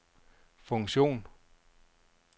funktion